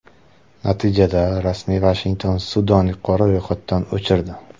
Natijada, rasmiy Vashington Sudanni qora ro‘yxatdan o‘chirdi.